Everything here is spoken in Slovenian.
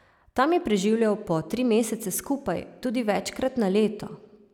Tam je preživljal po tri mesece skupaj, tudi večkrat na leto.